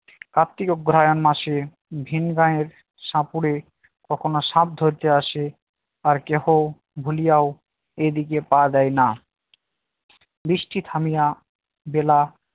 কার্তিক অগ্রহায়ণ মাসে ভিন গাঁয়ের সাপুড়ে কখনো সাপ ধরতে আসে আর কেহ ভুলিয়াও এদিকে পা দেয় না বৃষ্টি থামিয়া বেলা